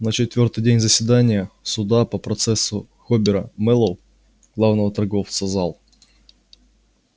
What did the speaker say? на четвёртый день заседания суда по процессу хобера мэллоу главного торговца зал